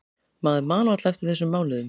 Maður man varla eftir þessum mánuðum.